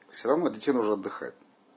всё равно от детей нужно отдыхать